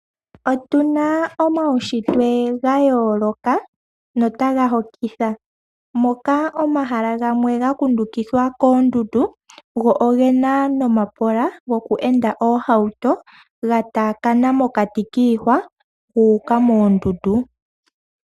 Otuna omaushitwe ga yooloka notaga hokitha moka omahala gamwe ga kundukidhwa koondundu, go ogena nomapola goku enda oohauto ga taakana mokati kiihwa gu uka moondundu.